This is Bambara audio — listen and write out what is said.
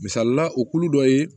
Misalila o kulu dɔ ye